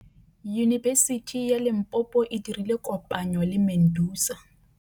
Yunibesiti ya Limpopo e dirile kopanyô le MEDUNSA.